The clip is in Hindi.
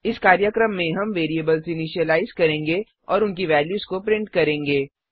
इस कार्यक्रम में हम वेरिएबल्स इनिशिलाइज करेंगे और उनकी वेल्यूज को प्रिंट करेंगे